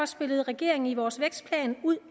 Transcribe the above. spillede regeringen i vores vækstplan ud